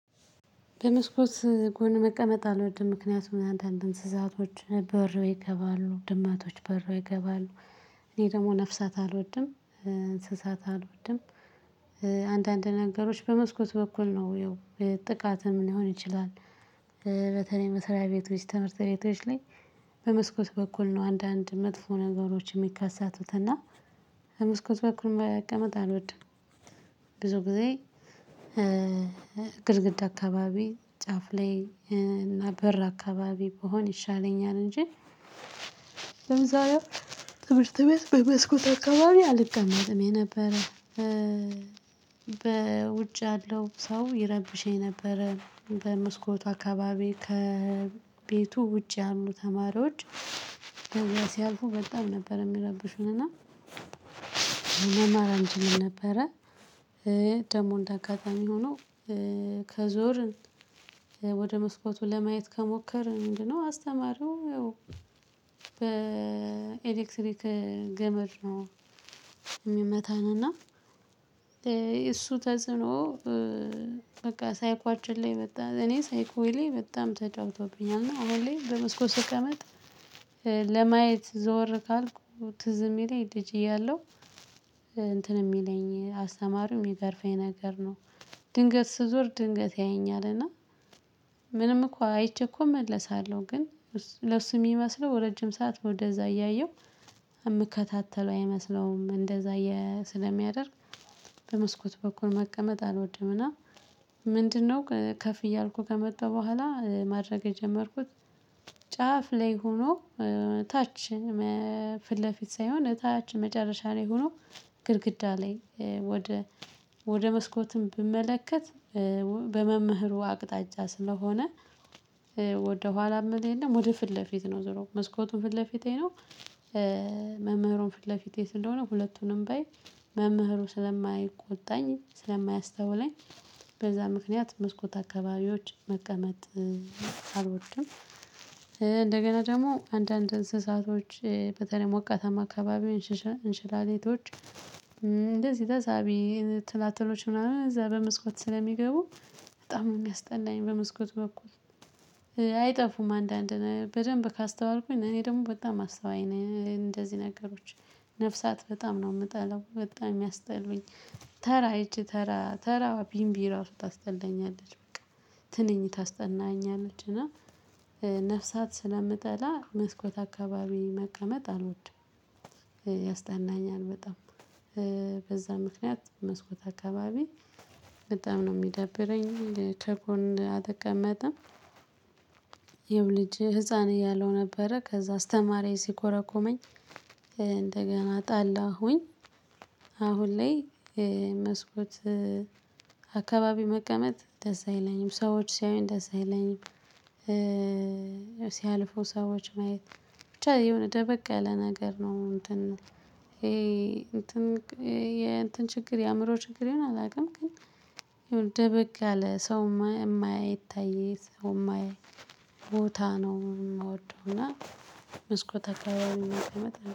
በመስኮት ጎን መቀመጥ አልወድም ምክንያቱም አንዳንድ እንስሳቶች በረው ይገባሉ ድመቶች በረው ይገባሉ። እኔ ደግሞ ነፍሳት አልወድም እንስሳት አልወድም። አንዳንድ ነገሮች በመስኮት በኩል ነው የው ጥቃትም ሊሆን ይችላል። በተለይ መሰሪያ ቤቶች ትምህርት ቤቶች ላይ ቤቶች ላይ። በመስኮት በኩል ነው አንዳንድ መጥፎ ነገሮችን ሚከስቱት እና በመስኮት በኩል መቀመጥ አልወድም። ብዙ ጊዜ ግድግድ አካባቢ ጫፍ ላይ እና በር አካባቢ ብሆነ ይሻለኛል እንጂ። በአብዛኝው ትምህርት ቤት በመስኮት አካባቢ አልቀመጥም የነበረ። በውጭ ያለው ሰው ይረብሽ ነበረ በመስኮቱ አካባቢ ከቤቱ ውጭ ያሉ ተማሪዎች። በዛ ሲያልፉ በጣም ነበር የሚረብሹን እና መማር አንችልም ነበረ። ደሞ እንደ አጋጣሚ ሆኖ ከዞርን ወደ መስኮቱ ለማየት ከሞከርን ምንድነው? አስተማሪው የው በኤሌክትሪክ ገመድ ነው። ሚመታን እና የእሱ ተጽኖ በቃ ሳይኳችን ላይ በጣም እኔ ሳይኮየ ላይ በጣም ተጫውቶብኛል እና አሁን ላይ በመስኮት ስቀመጥ። ለማየት ዘወር ካልኩ ትዝ የሚለኝ ልጅ እያለሁ እንትን የሚለኝ አስተማሪው ሚገርፈኝ ነገር ነው። ድንገት ሥዞር ድንገት ያየኛል እና ምንም እኮ አይቼ እኮ እመለሳለሁ ግን ለሱ ሚመስለው ረጅም ሰዓት ወደዛ እያየሁ ምከታተለው አይመስለውም እንደዛ የ ሥለሚያደርግ። በመስኮት በኩል መቀመጥ አልወድም። እና ምንድ ነው ከፍ እያልኩ ከመጣ በኋላ ማድረግ የጀመርኩት። ጫፍ ላይ ሆኖ ታች ፊት ለፊት ሳይሆን ታች መጨረሻ ላይ ሆኖ ግድግዳ ላይ ወደ ወደ መስኮትም ብመለከት በ በመምህሩ አቅጣጫ ስለሆነ። ወደ ኋላ መል የለም ወደ ፊት ለፊት ነው ዝሮ መስኮቱን ፊት ለፊቴ ነው። መምህሩን ፊት ለፊቴ ስለሆነ ሁለቱንም ባይ መምህሩ ስለማይቆጣኝ ስለማያስተውለኝ በዛ ምክንያት መስኮት አካባቢዎች መቀመጥ አልወድም። እንደገና ደግሞ አንዳንድ እንስሳቶች በተለይ ሞቃታማ አካባቢ እንሽ ሽ እንሽላሌቶች ተሳቢ ትላትሎች ምናምን እዛ በመስኮት ስለሚገቡ በጣም ነው ሚያስጠላኝ በመስኮቱ በኩል። አይጠፉም አንዳንድ በደንብ ካስተዋልኩኝ እኔ ደግሞ በጣም አስተዋይ ነኝ እንደዚህ ነገሮች ነፍሳት በጣም ነው የምጠላው በጣም የሚያስጠሉኝ። ተራ ሂጭ ተራ ተራ ቢንቢ ራሱ ታስጠናኛለች በቃ ትንኝ ታስጠላኛለች እና ነፍሳት ሥለ ምጠላ መስኮት አካባቢ መቀመጥ አልወድም። ያስጠላኛል በጣም። በዛ ምክንያት መስኮት አካባቢ በጣም ነው ሚዳብረኝ ከጎን አተቀመጥም። ይሄው ልጅ ህፃን እያለሁ ነበረ ከዛ አስተማሪየ ሲኮረኩመኝ እንደገና ጠለሁኝ። አሁን ላይ መስኮት አካባቢ መቀመጥ ደስ አይለኝም ሰዎች ሲያዩኝ ደስ አይለኝም። ሲያልፉ ሰዎች ማየት ብቻ የሆነ ደበቀ ያለ ነገር ነው እንትን ነው ይሄ እንትን የእትን የእንትን ችግር የአእምሮ ችግር ይሆናል አላውቅም ግን። ደበቅ ያለ ሰው ማያ ማይታይ ሰው ማያይ ቦታ ነው ምወደው እና። መስኮት አካባቢ መቀመጥ